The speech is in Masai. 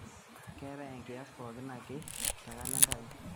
keetae enkiyas pooki ake te kalenda aai